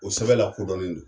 O sɛbɛn lakodɔnlen do.